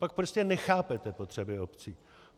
Pak prostě nechápete potřeby obcí.